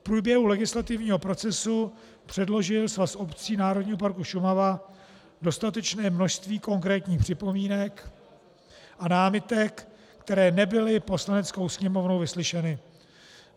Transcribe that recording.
V průběhu legislativního procesu předložil Svaz obcí Národního parku Šumava dostatečné množství konkrétních připomínek a námitek, které nebyly Poslaneckou sněmovnou vyslyšeny.